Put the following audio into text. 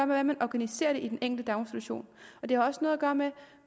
hvordan man organiserer det i den enkelte daginstitution det har også noget at gøre med